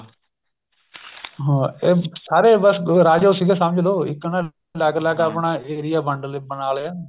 ਹਾਂ ਇਹ ਸਾਰੇ ਬੱਸ ਰਾਜੇ ਸੀਗੇ ਸਮਝਲੋ ਇੱਕ ਨਾ ਅਲੱਗ ਅਲੱਗ ਆਪਣਾ area ਵੰਡ ਲਿਆ ਬਣਾ ਲਿਆ